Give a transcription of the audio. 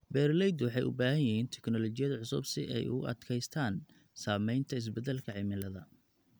Beeraleydu waxay u baahan yihiin teknoolojiyad cusub si ay ugu adkeystaan ??saameynta isbeddelka cimilada.